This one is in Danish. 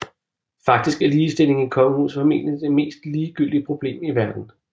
Faktisk er ligestilling i kongehuset formentlig det mest ligegyldige problem i verden